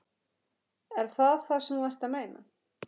Er það það sem þú ert að meina?